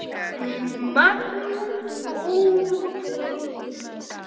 Magnað útspil.